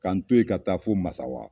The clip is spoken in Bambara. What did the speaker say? K'an to yen ka taa fo Masawa.